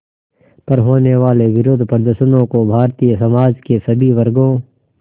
पर होने वाले विरोधप्रदर्शनों को भारतीय समाज के सभी वर्गों